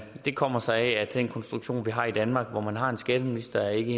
det kommer sig af at den konstruktion vi har i danmark hvor man har en skatteminister ikke